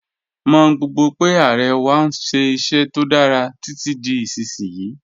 Mọ̀ gbogbo pe Aare wà n ṣẹ iṣẹ̀ tó dára titi di isisiyi.